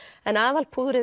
en